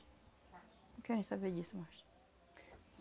Não querem saber disso mais.